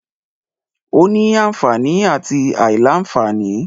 Ó ní anfààní àti àìlá-anfààní.